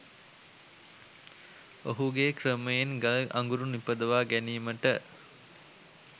ඔහුගේ ක්‍රමයෙන් ගල් අගුරු නිපදවා ගැනීමට